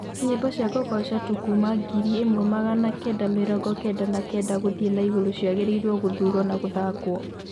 nyĩmbo cĩa kugoca tu kũma ngiri ĩmwe magana kenda mĩrongo kenda na kenda guthii na iguru ciagiriirwo guthurwo na guthakwo